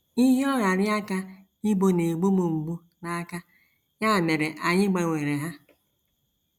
Ịhịọgharị aka ibo na - egbu m mgbu n’aka, ya mere anyị gbanwere ha.